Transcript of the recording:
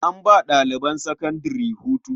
An ba ɗaliban sakandare hutu.